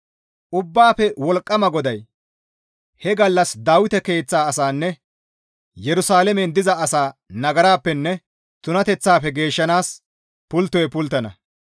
Ubbaafe Wolqqama GODAY, «He gallas Dawite keeththa asanne Yerusalaamen diza asaa nagarappenne tunateththafe geeshshanaas pulttoy pulttana.